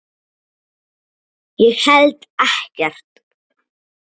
Ég held ekkert.